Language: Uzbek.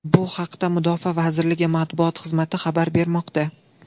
Bu haqda Mudofaa vazirligi Matbuot xizmati xabar bermoqda.